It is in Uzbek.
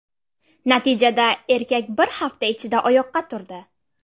Natijada, erkak bir hafta ichida oyoqqa turdi.